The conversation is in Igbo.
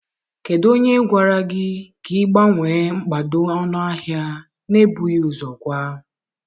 Kedu onye gwara gị ka ị gbanwee mkpado ọnụahịa na-ebughị ụzọ gwa?